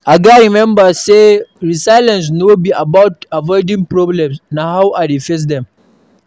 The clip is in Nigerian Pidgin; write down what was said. I gats remember say resilience no be about avoiding problems; na how I face dem.